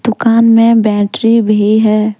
दुकान में बैटरी भी है।